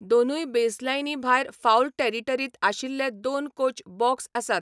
दोनूय बेसलायनी भायर फाऊल टेरिटरींत आशिल्ले दोन कोच बॉक्स आसात.